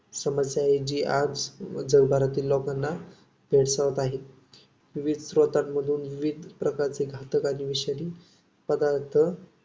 समस्या जी आज जगभारतील लोकाना भेडसावत आहे. विविध स्त्रोतांमधून विविध घातक आणि विषारी पदार्थ